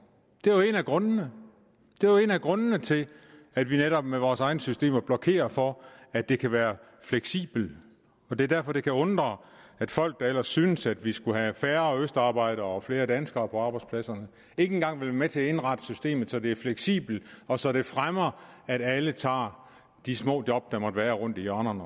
det er jo en af grundene det er jo en af grundene til at vi netop med vores egne systemer blokerer for at det kan være fleksibelt og det er derfor det kan undre at folk der ellers synes at vi skulle have færre østarbejdere og flere danskere på arbejdspladserne ikke engang vil være med til at indrette systemet så det er fleksibelt og så det fremmer at alle også tager de små job der måtte være rundt i hjørnerne